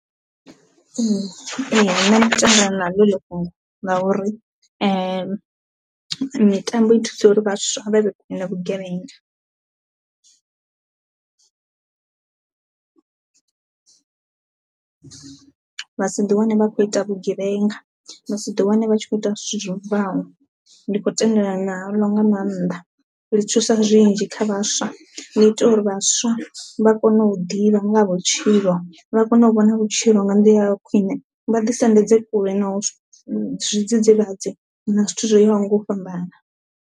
Ee nṋe ndi tendelana na lo heli fhungo la uri mitambo i thusa uri vhaswa vha vhe kule na vhugevhenga, vha si ḓi wane vha kho ita vhugevhenga, vha si ḓi wane vha tshi kho ita zwithu zwo bvaho ndi khou tendelana naḽo nga maanḓa ḽi thusa zwinzhi kha vhathu vhaswa, ḽi itea uri vhaswa vha kone u ḓivha nga vhutshilo vha kone u vhona vhutshilo nga ndi ya khwine, vha ḓi sendedze kule na zwidzidzivhadzi na zwithu zwo yaho nga u fhambana.